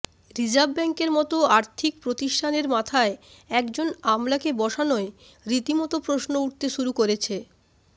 reserve ব্যাঙ্কের মতো আর্থিক প্রতিষ্ঠানের মাথায় একজন আমলাকে বসানোয় রীতিমতো প্রশ্ন উঠতে শুরু করেছে